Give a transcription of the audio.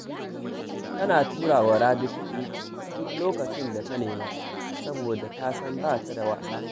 Tana tura wa Rabi kuɗi duk lokacin da ta nema, saboda ta san ba ta da wasa